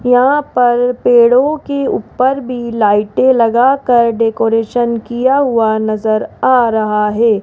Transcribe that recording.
यहां पर पेड़ों के ऊपर भी लाइटें लगाकर डेकोरेशन किया हुआ नजर आ रहा है।